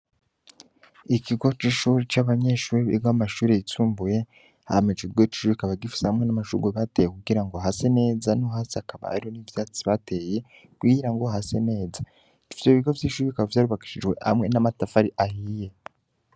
Ikigo c'ishure c'abanyeshure biga mu mashure yisumbuye, hama ico kigo c'ishure kikaba gifise hamwe n'amashurwe bateye kugira ngo hase neza no hasi hakaba hari ivyatsi bateye, kugira ngo hase neza. Ivyo bigo vy'ishure bikaba vyarubakishijwe amwe n'amatafari ahiye.